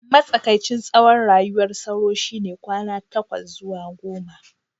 matsakaicin tsawon rayuwar sauro shine kwana takwas zuwa goma